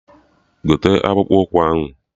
Gote akpụkpụ ụkwụ ahụ!